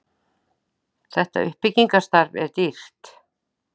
þetta uppbyggingarstarf er dýrt